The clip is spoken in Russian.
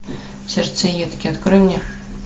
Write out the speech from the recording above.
сердцеедки открой мне